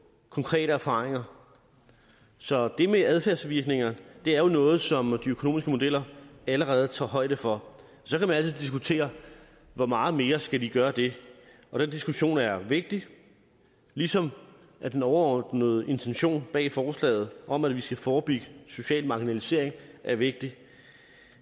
konkrete erfaringer så det med adfærdsvirkninger er jo noget som de økonomiske modeller allerede tager højde for så kan man altid diskutere hvor meget mere de skal gøre det den diskussion er vigtig ligesom den overordnede intention bag forslaget om at vi skal forebygge social marginalisering er vigtig